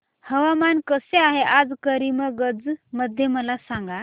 हवामान कसे आहे आज करीमगंज मध्ये मला सांगा